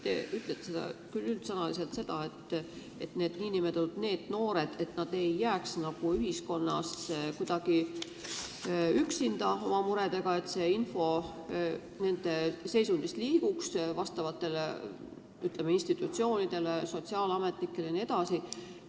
Te ütlesite üldsõnaliselt, et need noored ei tohi ühiskonnas kuidagi oma muredega üksi jääda ja seepärast on vaja, et info nende seisundi kohta liiguks teatud institutsioonide ja sotsiaalametnike kätte.